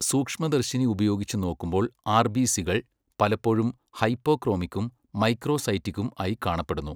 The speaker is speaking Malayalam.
സൂക്ഷ്മദർശിനി ഉപയോഗിച്ച് നോക്കുമ്പോൾ ആർ.ബി.സികൾ പലപ്പോഴും ഹൈപ്പോക്രോമിക്കും മൈക്രോസൈറ്റിക്കും ആയി കാണപ്പെടുന്നു.